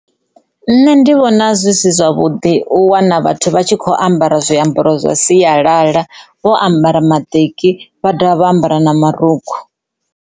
Nṋe ndi vhona zwi si zwavhuḓi u wana vhathu vha tshi kho ambara zwiambaro zwa sialala vho ambara maṱeki vha dovha vha ambara na marukhu.